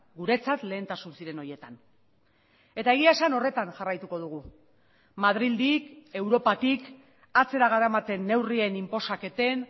guretzat lehentasun ziren horietan eta egia esan horretan jarraituko dugu madrildik europatik atzera garamaten neurrien inposaketen